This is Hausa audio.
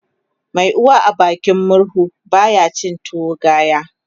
Mai uwa a bakin murhu baya cin tuwo gaya